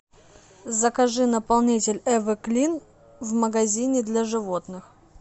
закажи наполнитель эвер клин в магазине для животных